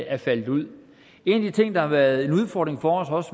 er faldet ud en af de ting der har været en udfordring for os